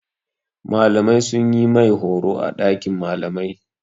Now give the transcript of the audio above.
Malamai sun yi mai horo a ɗakin malamai.